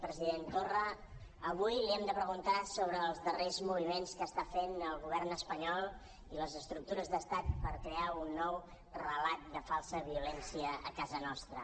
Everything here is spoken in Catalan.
president torra avui li hem de preguntar sobre els darrers moviments que està fent el govern espanyol i les estructures d’estat per crear un nou relat de falsa violència a casa nostra